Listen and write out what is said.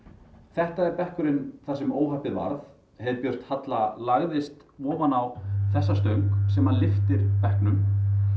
þetta er bekkurinn þar sem óhappið varð heiðbjört Halla lagðist ofan á þessa stöng sem lyftir bekknum